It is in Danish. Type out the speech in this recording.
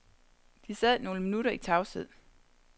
De sad nogle minutter i tavshed.